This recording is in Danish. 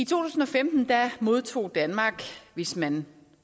tusind og femten modtog danmark hvis man